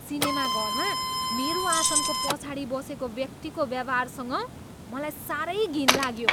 सिनेमाघरमा मेरो आसनको पछाडि बसेको व्यक्तिको व्यवहारसँग मलाई साह्रै घिन लाग्यो।